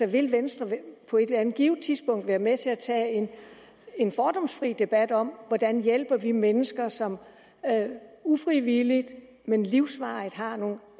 vil venstre på et eller andet givet tidspunkt være med til at tage en fordomsfri debat om hvordan vi hjælper de mennesker som ufrivilligt men livsvarigt har nogle